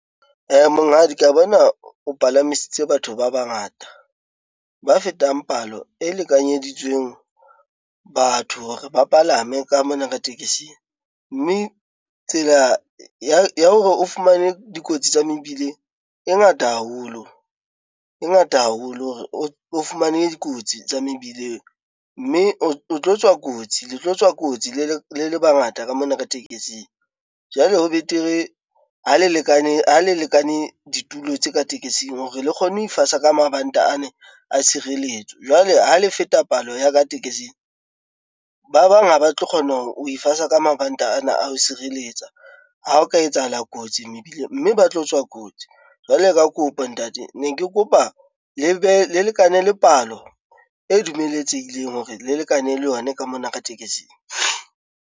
Monghadi ka bona o palamisitse batho ba bangata. Ba fetang palo e lekanyeditsweng batho hore ba palame ka mona ka tekesing, mme tsela ya hore o fumane dikotsi tsa mebileng e ngata haholo, e ngata haholo hore o fumane dikotsi tsa mebileng, mme o tlo tswa kotsi le tlo tswa kotsi le le bangata ka mona ka tekesing. Jwale ho betere ha le lekane ditulo tse ka tekesing hore le kgone ho ifasa ka mabanta ane a tshireletso jwale ha le feta palo ya ka tekesing, ba bang ha ba tlo kgona ho ifasa ka mabanta ana a ho sireletsa ha o ka etsahala kotsi mebileng mme ba tlo tswa kotsi. Jwale ka kopo ntate ne ke kopa le lekane le palo e dumeletsehileng hore le lekane le yona ka mona ka tekesing.